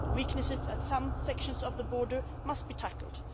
Weaknesses at some sections of the border must be tackled.